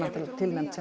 tilnefnd